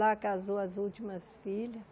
Lá casou as últimas filhas.